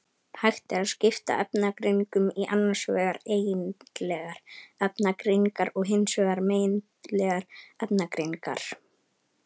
Hægt er að skipta efnagreiningum í annars vegar eigindlegar efnagreiningar og hins vegar megindlegar efnagreiningar.